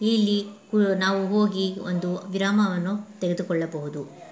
ಇಲ್ಲಿ ನಾವು ಹೋಗಿ ಒಂದು ಗ್ರಾಮವನ್ನು ತೆಗೆದುಕೊಳ್ಳಬಹುದು .